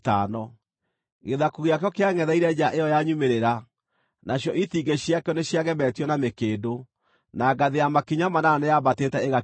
Gĩthaku gĩakĩo kĩangʼetheire nja ĩyo ya nyumĩrĩra; nacio itingĩ ciakĩo nĩciagemetio na mĩkĩndũ, na ngathĩ ya makinya manana nĩyaambatĩte ĩgakinya ho.